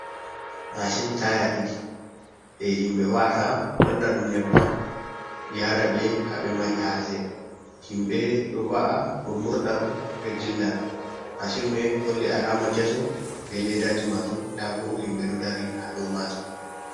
Machin taya ɗiɗi je himɓɓe wa’ata wanna ɗum nyebbam yara ɓe haɓe mari haje himɓɓe ɗo wa’a ɗum murda ɗum ɓe dilla, mashin me holli alama kesum be leddaji majum ndabo himɓɓe ɗo dari ha dow majum.